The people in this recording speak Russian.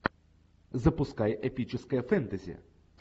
запускай эпическое фэнтези